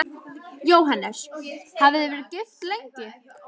Jóhannes: Hafið þið verið gift lengi?